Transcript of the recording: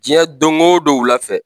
Diɲɛ don o don wulafɛ